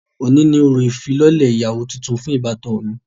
Oni ni orȯ ifilọlẹ iyawo tùntùn fun ibatan mi.